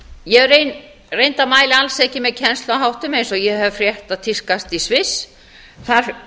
ég reyndar mæli alls ekki með kennsluháttum eins og ég hef frétt að tíðkast í sviss þar